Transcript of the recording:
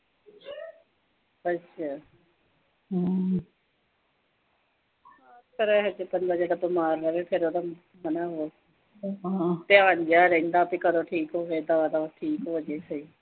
ਧਿਆਨ ਜਾ ਰਹਿੰਦਾ ਵੀ ਕਦੋਂ ਠੀਕ ਹੋਵੇ ਤਾਂ ਦਬਾ-ਦਬ ਠੀਕ ਹੋਜੇ ਸਹੀ।